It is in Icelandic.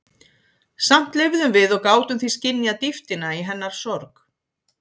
Samt lifðum við og gátum því skynjað dýptina í hennar sorg.